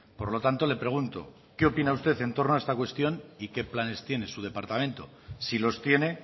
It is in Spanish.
por lo tanto le pregunto qué opina usted en torno a esta cuestión y qué planes tiene su departamento si los tiene